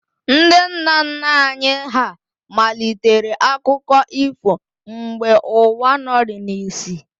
Ndị nna nna anyị hà malitere akụkọ ifo mgbe ụwa nọrịị n'isi